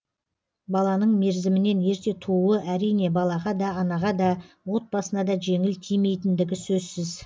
баланың мерзімінен ерте тууы әрине балаға да анаға да отбасына да жеңіл тимейтіндігі сөзсіз